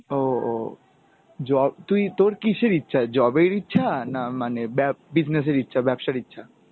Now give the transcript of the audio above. ও, ও, job তুই তোর কিসের ইচ্ছা, job এর ইচ্ছা না মানে ব্যা~ business এর ইচ্ছা ব্যাবসার ইচ্ছা?